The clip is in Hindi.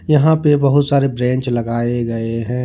यहां पे बहुत सारे ब्रेंच लगाए गए हैं।